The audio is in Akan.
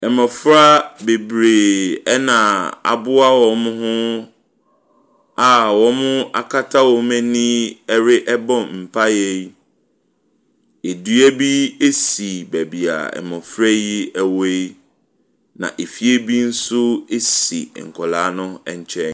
Mmɔfra bebree na aboa wɔn ho a wɔakata wɔn ani rebɔ mpaeɛ yi. Dua bi si baabi a mmɔfra yi wɔ yi, na efie bi nso si nkwadaa no nkyɛn.